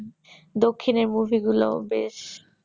দক্ষিণের movie গুলোও বেশ